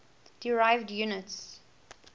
derived units